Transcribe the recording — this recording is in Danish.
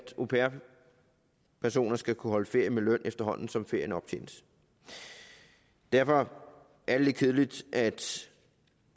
au pair personer skal kunne holde ferie med løn efterhånden som ferien optjenes derfor er det lidt kedeligt at